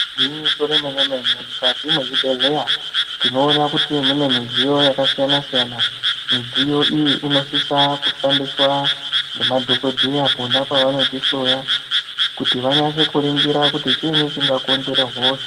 Gwinyiso remene-mene mukati mezvibhedhleya tinoone kuti mune midziyo yakasiyana-siyana midziyo iyi inosise kushandiswa ngemadhokodheya pona pavanotihloya kuti vanase kuningira kuti chiinyi chingakonzera hosha.